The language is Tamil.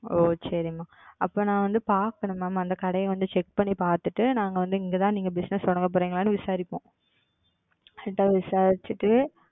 ஓ சரி Ma'am அப்போ நான் வந்து பாக்கணும் Ma'am அந்த கடைய வந்து Check பண்ணிபாத்துட்டு நாங்க வந்து இங்க தான் நீங்க Bussiness தொடங்க போறீங்களான்னு விசாரிப்போம். Correct ஆ விசாரித்து விட்டு